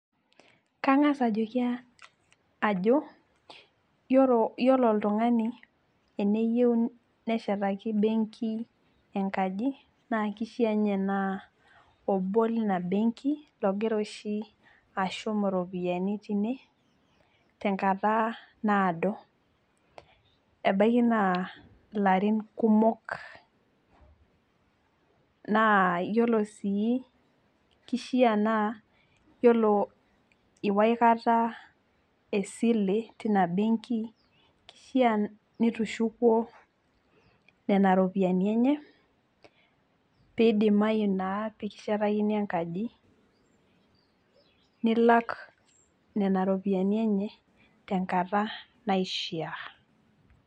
kang'as ajoki ajo iyiolo oltungani, eneyieu neshetaki benki enkaji naa kishaa, ninye naa obolina benki, logira oshi ashum iropiyiani tine, tenkata naadoebaiki naa larin kumok, naa iyiolo sii kishaa naa iyiolo iwa aikata esile, teina benki, kishaa nitushukuo, nena rpiyiani enye. pee idimayu naa pee kishetakini enkaji nilak nena ropiyiani enye tenkata naishaa.